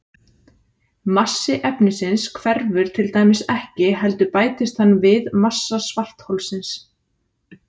Massi efnisins hverfur til dæmis ekki heldur bætist hann við massa svartholsins.